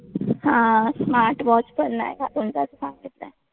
हा smart watch पण नाही घालून जायचं सांगितलंय.